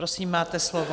Prosím, máte slovo.